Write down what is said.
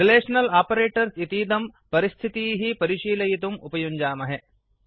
relational operators इतीदं परिस्थितीः परिशीलयितुम् उपयुञ्जामहे